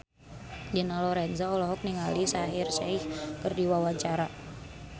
Dina Lorenza olohok ningali Shaheer Sheikh keur diwawancara